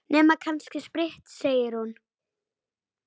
Nema kannski spritt, segir hún.